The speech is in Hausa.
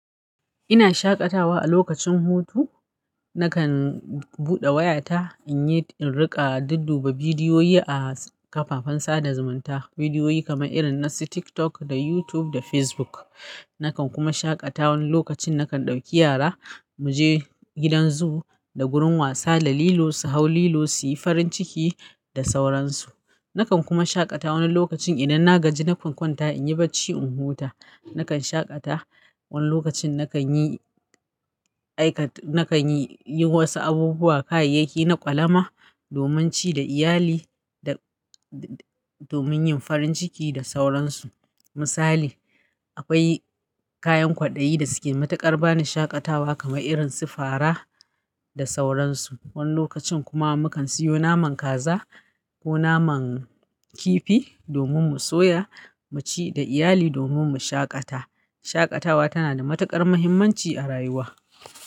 Ina shaƙatawa a lokacin hutu. Nakan buɗe wayata in yi, in riƙa dudduba bidiyoyi a kafafen sada zumunta. Bidiyoyi kamar irin su TikTok da YouTube da Facebook. Nakan kuma shaƙata wani lokacin nakan ɗauki yara mu je gidan zoo da gurin wasa da lilo, su hau lilo su yi farin ciki da sauransu. Nakan kuma shaƙata wani lokacin idan na gaji na kwankwanta in yi barci in huta. Nakan shaƙata wani lokacin nakan yi aikat-- nakan yi, yi wasu abubuwa, kayayyaki na ƙwalama domin ci da iyali da, da domin yin farin ciki da sauransu. Misali, akwai kayan kwaɗayi da suke mataƙar bani shaƙatawa kamar irin su fara da sauransu. Wani lokacin kuma mukan siyo naman kaza ko naman kifi domin mu soya mu ci da iyali domin mu shaƙata. Shaƙatawa tana da matuƙar muhimmanci a rayuwa.